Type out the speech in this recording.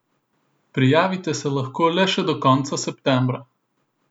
Prijavite se lahko le še do konca septembra!